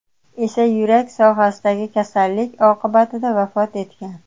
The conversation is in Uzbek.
esa yurak sohasidagi kasallik oqibatida vafot etgan.